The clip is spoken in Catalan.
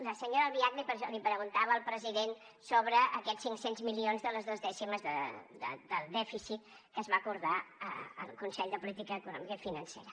la senyora albiach li preguntava al president sobre aquests cinc cents milions de les dos dècimes del dèficit que es va acordar al consell de política econòmica i financera